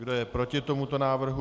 Kdo je proti tomuto návrhu?